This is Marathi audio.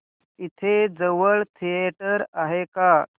इथे जवळ थिएटर आहे का